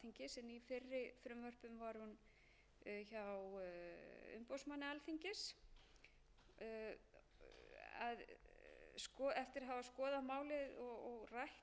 en í fyrri frumvörpum var hún hjá umboðsmanni alþingis eftir að hafa skoðað málið og rætt það við umboðsmann alþingis þótti okkur þetta betra